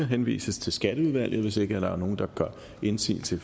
henvises til skatteudvalget hvis ikke der er nogen der gør indsigelse